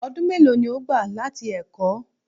Ọdún mélòó ni ó gbà láti ẹ̀kọ́?